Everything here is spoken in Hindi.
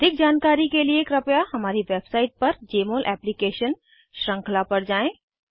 अधिक जानकारी के लिए कृपया हमारी वेबसाइट पर जमोल एप्लीकेशन श्रृंखला पर जाएँ